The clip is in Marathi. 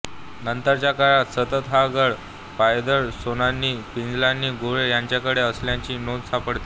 नंतर च्या काळात सतत हा गड पायदळ सेनानी पिलाजी गोळे यांच्याकडे असल्याची नोंद सापडते